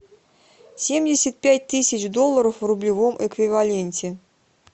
семьдесят пять тысяч долларов в рублевом эквиваленте